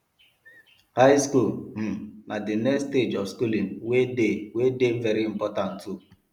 high school um na the next stage of schooling wey de wey de very important too